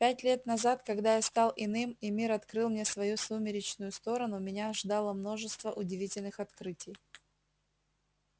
пять лет назад когда я стал иным и мир открыл мне свою сумеречную сторону меня ждало множество удивительных открытий